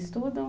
Estudam?